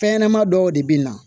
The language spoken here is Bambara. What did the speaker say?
Fɛn ɲɛnɛma dɔw de bi na